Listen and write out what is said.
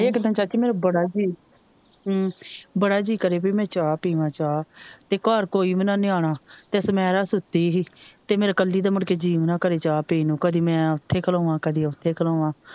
ਹਾਏ ਇਕ ਦਿਨ ਚਾਚੀ ਮੇਰਾ ਬੜਾ ਜੀਅ ਬੜਾ ਜੀਅ ਕਰੇ ਪੀ ਮੈ ਚਾਹ ਪੀਵਾ ਚਾਹ ਤੇ ਘਰ ਕੋਈ ਵੀ ਨਾ ਨਿਆਣਾ ਤੇ ਛਾਮੇਰਾ ਸੁਤੀ ਹੀ ਤੇ ਮੇਰਾ ਇੱਕਲੀ ਦਾ ਮੁੜਕੇ ਜੀਅ ਵੀ ਨਾ ਕਰੇ ਚਾਹ ਪੀਣ ਨੂੰ ਕਦੇ ਮੈ ਉੱਥੇ ਖਲੋਵਾਂ ਕਦੇ ਉੱਥੇ ਖਲੋਵਾ।